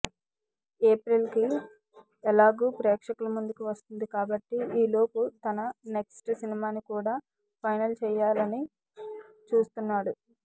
April కి ఎలాగూ ప్రేక్షకుల ముందుకి వస్తుంది కాబట్టి ఈలోపు తన నెక్స్ట్ సినిమాని కూడా ఫైనల్ చేయాలని చూస్తున్నాడు